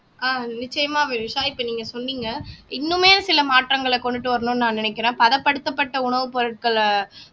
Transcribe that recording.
அஹ் நிச்சயமா வினுஷா இப்ப நீங்க சொன்னீங்க இன்னுமே சில மாற்றங்களை கொண்டுட்டு வரணும்ன்னு நான் நினைக்கிறேன் பதப்படுத்தப்பட்ட உணவுப் பொருட்களை